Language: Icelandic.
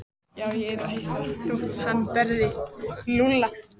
Já, ég yrði ekki hissa þótt hann berði Lúlla.